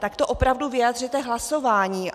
Tak to opravdu vyjádřete hlasováním.